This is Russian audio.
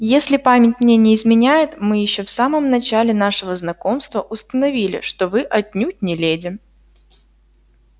если память мне не изменяет мы ещё в самом начале нашего знакомства установили что вы отнюдь не леди